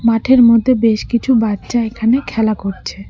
মাঠের মধ্যে বেশ কিছু বাচ্চা এখানে খেলা করছে।